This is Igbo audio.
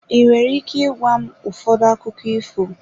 Ị nwere ike ịgwa m ụfọdụ akụkọ ifo?